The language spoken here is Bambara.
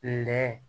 Nɛ